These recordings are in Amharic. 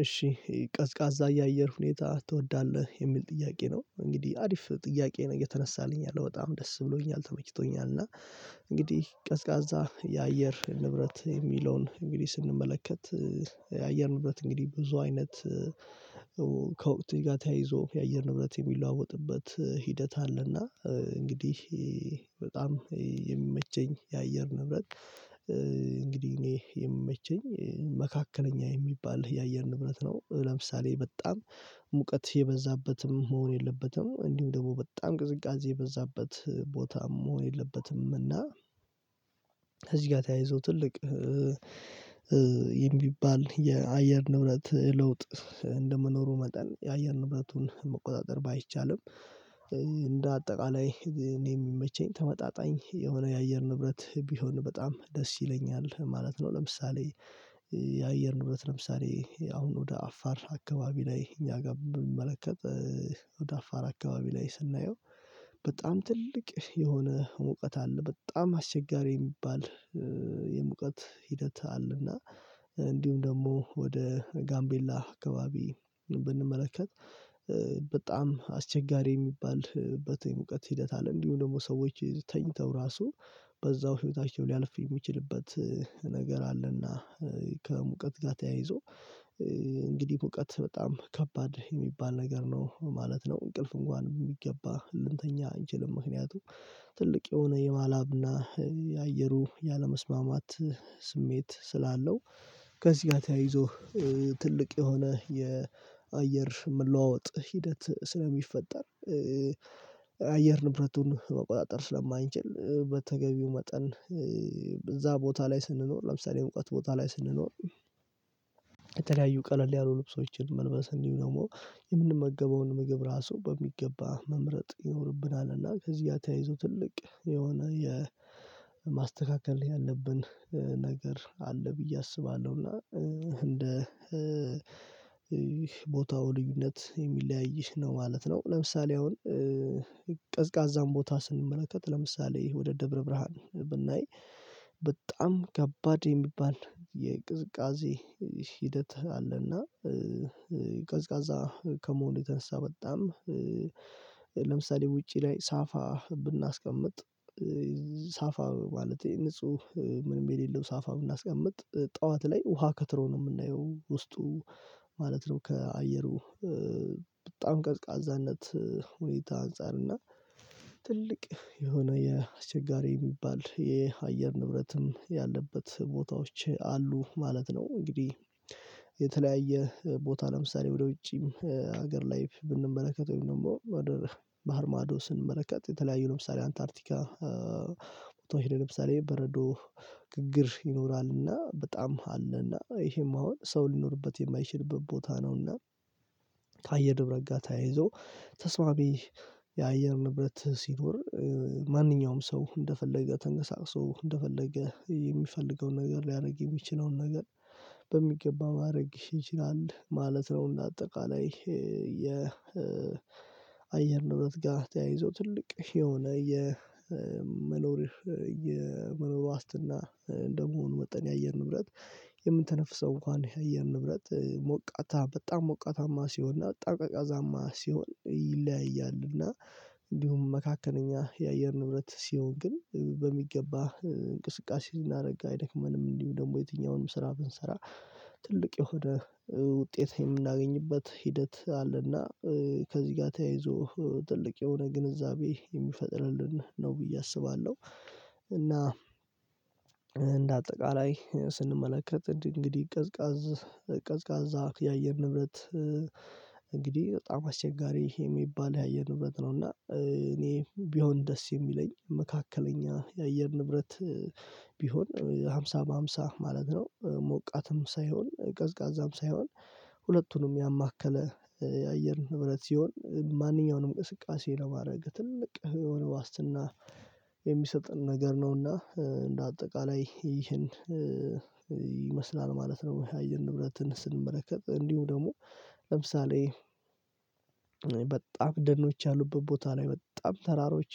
እሺ ቀዝቃዛ የአየር ሁኔታ ትወዳለህ የሚል ጥያቄ ነው። እንግዲህ አሪፍ ጥያቄ ነው የተነሳልኝ ያለው በጣም ደስ ብሎኛል ተመችቶኛል። እና እንግዲህ ቀዝቃዛ የአየር ንብረት የሚለውን እንግዲህ ስንመለከት። የአየር ንብረት እንግዲህ ብዙ አይነት ከወቅት ጋር ተያይዞ የአየር ንብረት የሚለዋወጥበት ሂደት አለና እንግዲህ በጣም የሚመቸኝ የአየር ንብረት። እንግዲህ እኔ የሚመቸኝ መካከለኛ የሚባል የአየር ንብረት ነው። ለምሳሌ በጣም ሙቀት የበዛበትም መሆን የለበትም እንዲሁም ደግሞ በጣም ቅዝቃዜ የበዛበት ቦታም መሆን የለበትም። እና እዚህ ጋር ተያይዞ ትልቅ የሚባል የአየር ንብረት ለውጥ እንደመኖሩ መጠን የአየር ንብረቱን መቆጣጠር ባይቻልም። እንደ አጠቃላይ እኔ የሚመቸኝ ተመጣጣኝ የሆነ የአየር ንብረት ቢሆን በጣም ደስ ይለኛል ማለት ነው። ለምሳሌ የአየር ንብረት ለምሳሌ አሁን ወደ አፋር አካባቢ ላይ እኛ ጋር ብንመለከት። ወደ አፋር አካባቢ ላይ ስናየው በጣም ትልቅ የሆነ ሙቀት አለ በጣም አስቸጋሪ የሚባል። የሙቀት ሂደት አለና። እንዲሁም ደግሞ ወደ ጋምቤላ አካባቢ ብንመለከት። በጣም አስቸጋሪ የሚባልበት የሙቀት ሂደት አለ እንዲሁ ደግሞ ሰዎች ተኝተው ራሱ በዛው ህይወታቸው ሊያልፍ የሚችልበት ነገር አለና። ከሙቀት ጋር ተያይዞ እንግዲህ ቦታ በጣም ከባድ የሚባል ነገር ነው ማለት ነው። እንቅልፍ እንኳን የሚገባ ልንተኛ አንችልም ምክንያቱም ትልቅ የሆነ የማላብና የአየሩ ያለመስማማት ስሜት ስላለው። ከዚህ ጋር ተያይዞ ትልቅ የሆነ የአየር ምላወጥ ሂደት ስለሚፈጠር። አየር ንብረቱን መቆጣጠር ስለማንችል በተገቢው መጠን እዛ ቦታ ላይ ስንኖር ለምሳሌ እውቀት ቦታ ላይ ስንኖር። የተለያዩ ቀለል ያሉ ልብሶችን መልበስ እንዲሁ ደግሞ የምንመገበውን ምግብ ራሱ በሚገባ መምረጥ ይኖርብናልና ከዚህ ጋር ተያይዞ ትልቅ የሆነ የማስተካከል ያለብን ነገር አለ ብዬ አስባለሁ። እና እንደ ቦታው ልዩነት የሚለያይሽ ነው ማለት ነው። ለምሳሌ አሁን ቀዝቃዛን ቦታ ስንመለከት ለምሳሌ ወደ ደብረ ብርሃን ብናይ በጣም ከባድ የሚባል የቅዝቃዜ ሂደት አለና። ቀዝቃዛ ከመሆኑ ተንሳ በጣም ለምሳሌ ውጪ ላይ ሳፋ ብናስቀምጥ ሳፋ ማለቴ ንጹህ ምንም የሌለው ሳፋ ብናስቀምጥ ጠዋት ላይ ውሃ ከትሮ ነው የምናየው ውስጡ ማለት ነው። ከአየሩ በጣም ቀዝቃዛነት ሁኔታ አንፃር እና ትልቅ የሆነ የአሸጋሪ የሚባል የአየር ንብረትም ያለበት ቦታዎች አሉ ማለት ነው። እንግዲህ የተለያየ ቦታ ለምሳሌ ወደ ውጪም ሀገር ላይ ብንመለከተው ወይም ደግሞ ወደ ባህር ማዶ ስንመለከት የተለያዩ ለምሳሌ አንታርቲካ ለምሳሌ በረዶ ግግር ይኖራልና በጣም አለና ይሄም አሁን ሰው ሊኖርበት የማይችልበት ቦታ ነውና። ከአየር ንብረት ጋር ተያይዞ ተስማቢ የአየር ንብረት ሲኖር ማንኛውም ሰው እንደፈለገ ተቀሳቅሶ እንደፈለገ የሚፈልገውን ነገር ሊያደርግ የሚችለውን ነገር በሚገባ ማድረግ ይችላል ማለት ነው። እና አጠቃላይ የ አየር ጋር ተያይዞ ትልቅ የሆነ የመኖር የመኖር ዋስትና እንደመሆኑ መጠን የአየር ንብረት። የምንተነፍሰው እንኳን የአየር ንብረት ሞቃታ በጣም ሞቃታማ ሲሆን እና ጠቃቃዛማ ሲሆን ይለያያል። እና እንዲሁም መካከለኛ የአየር ንብረት ሲሆን ግን በሚገባ እንቅስቃሴ ዝና ደግሞ አይደክመንም እንዲሁ ደግሞ የትኛውንም ስራ ብንሰራ ትልቅ የሆነ ውጤት የምናገኝበት ሂደት አለና። ከዚህ ጋር ተያይዞ ትልቅ የሆነ ግንዛቤ የሚፈጥርልን ነው ብዬ አስባለሁ። እና እንደ አጠቃላይ ስንመለከት እንግዲህ ቀዝቃዛ ቀዝቃዛ የአየር ንብረት እንግዲህ በጣም አስቸጋሪ የሚባል የአየር ንብረት ነው። እና እኔ ቢሆን ደስ የሚለኝ መካከለኛ የአየር ንብረት። ቢሆን ሃምሳ በሃምሳ ማለት ነው ሞቃትም ሳይሆን ቀዝቃዛም ሳይሆን ሁለቱንም ያማከለ የአየር ንብረት ሲሆን ማንኛውንም እንቅስቃሴ ለማድረግ ትልቅ የሆነ ዋስትና የሚሰጥን ነገር ነውና እንደ አጠቃላይ ይህን ይመስላል ማለት ነው። የሚያየን ንብረትን ስንመለከት እንዲሁ ደግሞ ለምሳሌ በጣም ደኖች ያሉበት ቦታ ላይ በጣም ተራሮች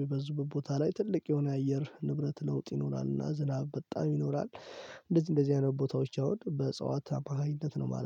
የበዙበት ቦታ ላይ ትልቅ የሆነ አየር ንብረት ለውጥ ይኖራልና ዝናብ በጣም ይኖራል። እንደዚህ እንደዚህ አይነት ቦታዎች ያወድ በእጽዋት ተባሃይነት ነው ማለት ነው